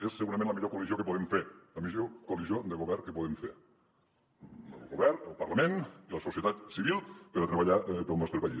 és segurament la millor coalició que podem fer la millor coalició de govern que podem fer el govern el parlament i la societat civil per a treballar pel nostre país